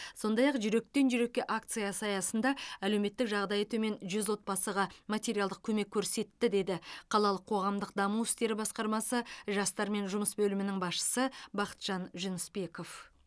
сондай ақ жүректен жүрекке акциясы аясында әлеуметтік жағдайы төмен жүз отбасыға материалдық көмек көрсетті деді қалалық қоғамдық даму істері басқармасы жастармен жұмыс бөлімінің басшысы бақытжан жүнісбеков